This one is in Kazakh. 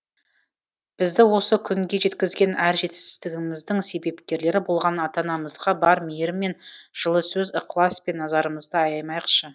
бізді осы күнге жеткізген әр жетістігіміздің себепкерлері болған ата анамызға бар мейірім мен жылы сөз ықылас пен назарымызды аямайықшы